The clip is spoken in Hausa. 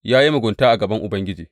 Ya yi mugunta a gaban Ubangiji.